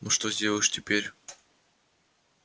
но что сделаешь теперь